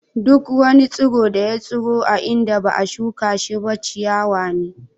Duk wani tsiro da ya tsiro a inda ba'a shuka shi ba ciyawa ne.